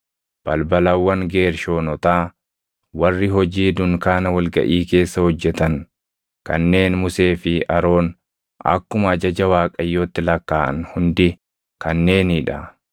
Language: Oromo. Balbalawwan Geershoonotaa, warri hojii dunkaana wal gaʼii keessa hojjetan kanneen Musee fi Aroon akkuma ajaja Waaqayyootti lakkaaʼan hundi kanneenii dha.